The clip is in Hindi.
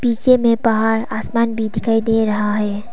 पीछे में पहाड़ आसमान भी दिखाई दे रहा हैं।